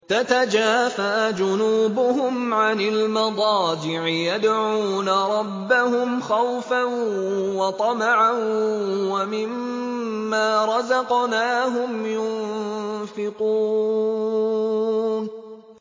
تَتَجَافَىٰ جُنُوبُهُمْ عَنِ الْمَضَاجِعِ يَدْعُونَ رَبَّهُمْ خَوْفًا وَطَمَعًا وَمِمَّا رَزَقْنَاهُمْ يُنفِقُونَ